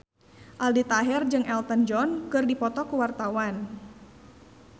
Aldi Taher jeung Elton John keur dipoto ku wartawan